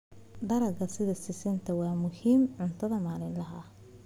Dalagga sida sisinta waa muhiim cunada maalinlaha ah.